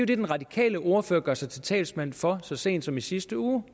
det den radikale ordfører gjorde sig til talsmand for så sent som i sidste uge